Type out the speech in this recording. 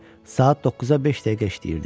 Saat 9-a beş dəqiqə işləyirdi.